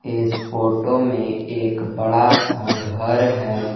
इस फोटो में एक बड़ा सा घर है।